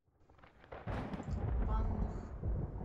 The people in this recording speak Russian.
банных